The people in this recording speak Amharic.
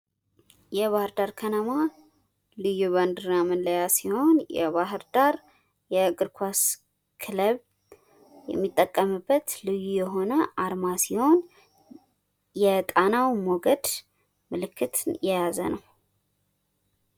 የባህር ዳር ከነማ ልይ መላያ ባንድራ ሲሆን የባህር ዳር የእግር ኳስ ክለብ የሚጠቀምበት ልዩ የሆነ አርማ ሲሆን የጣናው ሞገድ ምልክትን የያዘ ነው።